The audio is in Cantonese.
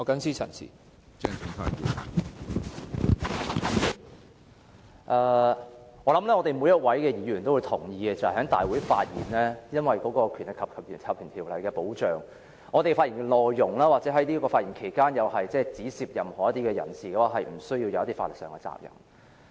相信每位議員也同意，議員在議事堂上發言，由於受《立法會條例》保障，因此我們的發言內容，或是在發言期間指涉任何人士的說話，也無須負上法律責任。